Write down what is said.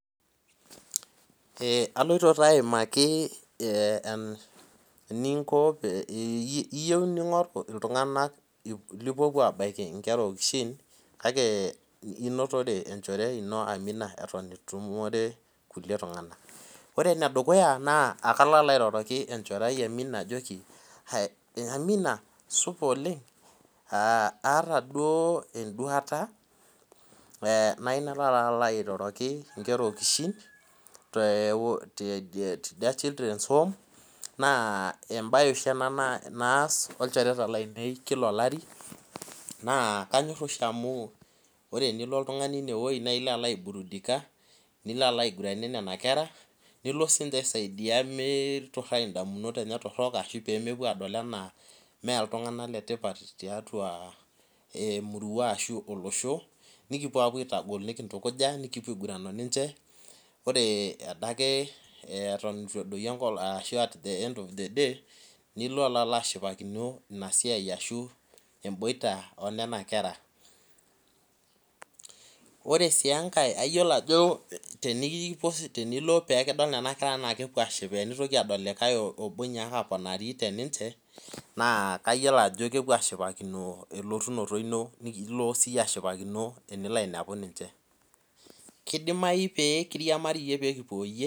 aloito taa aimaki eninko iyieu nirik iltunganak lipuopuo abaki iltunganak okishin kake inotore enchore ino amina eton etu itumore kulikae tung'anak kang'as airoroki enchore ai amina ajoki amina supa oleng', ataa duo eduata nayieu nalo abaiki inkera okishin te children's home naa ebaye oshi ena naas naa kanyor oshi amu ore pee ilo oltung'ani ineweji naa ilo aiguranie nena kera nilo aisaidia miturai idamunot enye torok ,ashu pee mepuo edol enaa emurua ashu tiatua olosho , nikipuo apuo aitagol nikitukuja ore adake nilo ashippakino ina boita enena kera , ore sii enkae naa keshipakino elotunoto inyi, kidimayu pee kiriamarie.